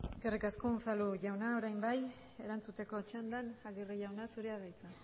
eskerrik asko unzalu jauna orain bai erantzuteko txandan aguirre jauna zurea da hitza